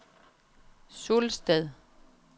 Sulsted